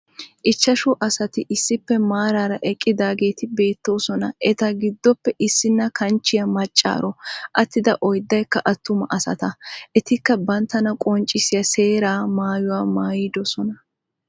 Ichchashshu asati issippe maaraara eqqidaageti beettoosona. eta giddoppe issini kanchchiyaa maccaaro. Atiida oyddaykka attuma asata. etikka banttana qonccisiyaa seeraa maayuwaa mayidoosona.